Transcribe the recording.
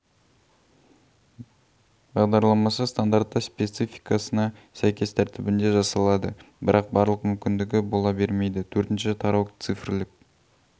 бағдарламасы стандартты спецификасына сәйкес тәртібінде жасалады бірақ барлық мүмкіндігі бола бермейді төртінші тарау цифрлік